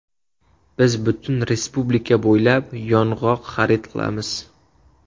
Biz butun respublika bo‘ylab yong‘oq xarid qilamiz.